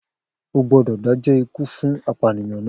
O gbódò dájọ́ ikú fún apànìyàn náà!